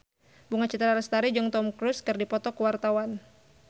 Bunga Citra Lestari jeung Tom Cruise keur dipoto ku wartawan